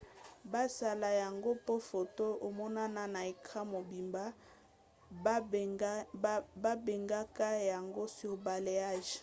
basala yango po foto emonana na ecran mobimba. babengaka yango surbalayage